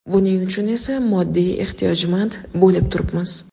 Buning uchun esa moddiy ehtiyojmand bo‘lib turibmiz.